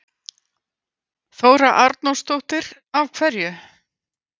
Þóra Arnórsdóttir: Af hverju?